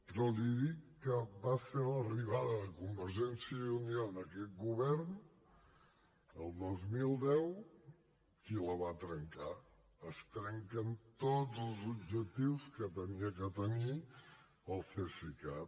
però li dic que va ser l’arribada de convergència i unió a aquest govern el dos mil deu qui la va trencar es trenquen tots els objectius que havia de tenir el cesicat